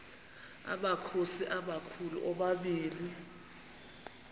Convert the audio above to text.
amakhosi amakhulu omabini